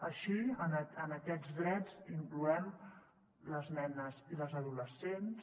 així en aquests drets hi incloem les nenes i les adolescents